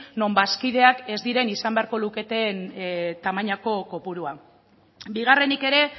non bazkideak ez diren izan beharko luketen tamainako kopurua bigarrenik ere